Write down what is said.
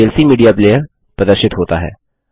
VLC media player प्रदर्शित होता है